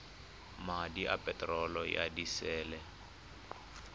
madi a peterolo ya disele